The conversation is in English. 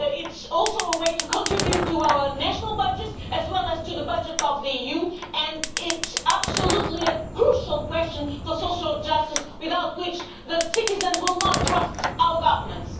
It is also a way to contribute to our national budgets, as well as to the budget of the EU, and is a crucial question for social justice, without which citizens will not trust our governments.